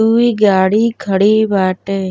ई गाड़ी खड़ी बाटे।